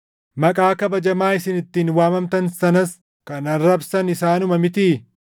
Maqaa kabajamaa isin ittiin waamamtan sanas kan arrabsan isaanuma mitii?